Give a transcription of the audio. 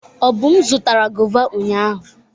Obum zụtara gọva ụnyahụ.